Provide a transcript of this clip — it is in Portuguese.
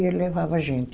E ele levava a gente.